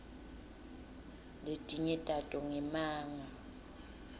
letinye tato ngemanga